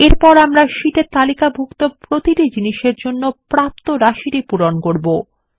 এরপর আমরা শীটে তালিকাভুক্ত প্রতিটি জিনিসের জন্য প্রাপ্ত রাশিটি পূরণ করব